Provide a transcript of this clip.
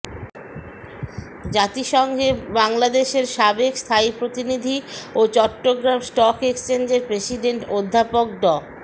জাতিসংঘে বাংলাদেশের সাবেক স্থায়ী প্রতিনিধি ও চট্টগ্রাম স্টক এক্সচেঞ্জের প্রেসিডেন্ট অধ্যাপক ড